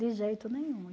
De jeito nenhum.